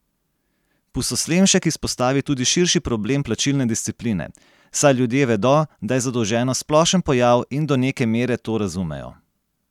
Pustoslemšek izpostavi tudi širši problem plačilne discipline: 'Saj ljudje vedo, da je zadolženost splošen pojav in do neke mere to razumejo.